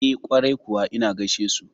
E, kwarai kuwa ina gaishesu.